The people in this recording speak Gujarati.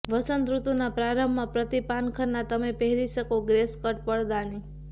વસંતઋતુના પ્રારંભમાં પ્રતિ પાનખરના તમે પહેરી શકે ગ્રે સ્કર્ટ પડદાની